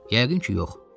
Yəqin ki, yox.